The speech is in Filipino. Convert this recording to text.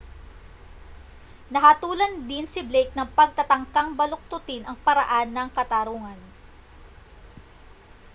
nahatulan din si blake ng pagtatangkang baluktutin ang paraan ng katarungan